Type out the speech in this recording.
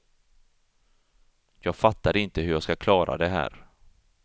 Jag fattar inte hur jag ska klara det här.